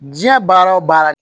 Diɲɛ baara wo baara